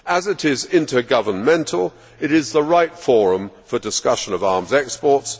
As it is intergovernmental, it is the right forum for discussion of arms exports